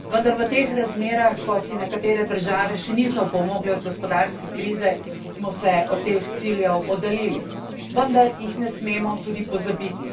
Vendar v teh razmerah, ko si nekatere države še niso opomogle od gospodarske krize, smo se od teh ciljev oddaljili, vendar jih ne smemo tudi pozabiti.